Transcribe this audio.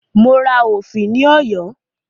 Mo ra òfì ní Ọ̀yọ́